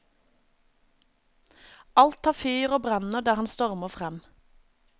Alt tar fyr og brenner der han stormer frem.